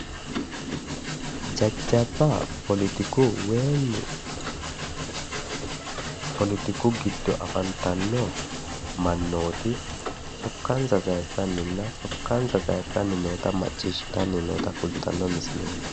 jajjabba poletiku woyimi poletiku giddo afantanno mannooti sokkansa sayiissannina sokkansa noota macciishshitanni noota kultanno misileeti.